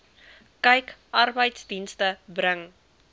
kyk arbeidsdienste bring